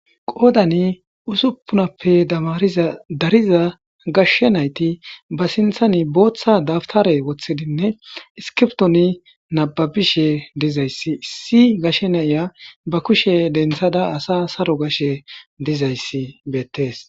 Qoodani usuppunappe damariza dariza gashshe nayti ba sinthani booththa dabtare woththidinne iskiptoni nababishe dizayssi issi gashshe nayya ba kushe denthada asa saro gashe dizayssi beettees